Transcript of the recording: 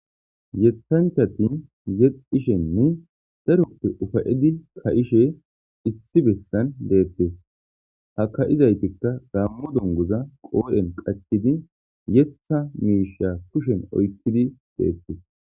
Yethanchati yexishene darrope ufayetishe ka'ishe si besani bettesi, ha kayizayisatika gammo dunguza qodheni qachidi yethasi misha oyikidi loyithidi bettesi